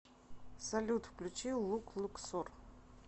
салют включи лук луксор